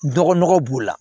Dɔgɔ nɔgɔ b'o la